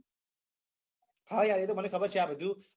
હા યાર એ તો મને ખબર છે આ બધું